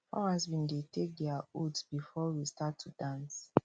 farmers bin take dia oaths before we start to dance